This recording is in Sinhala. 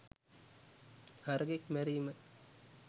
හරකෙක් මැරීම